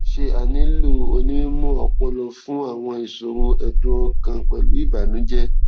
ṣé a nílò onímọ ọpọlọ fún àwọn ìṣòro ẹdùn ọkàn pẹlú ìbànújẹ